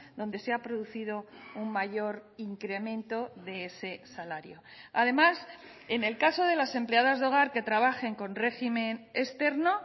donde se ha producido un mayor incremento de ese salario además en el caso de las empleadas de hogar que trabajen con régimen externo